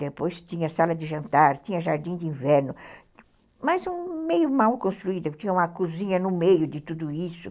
Depois tinha sala de jantar, tinha jardim de inverno, mas meio mal construída, tinha uma cozinha no meio de tudo isso.